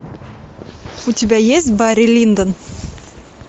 у тебя есть барри линдон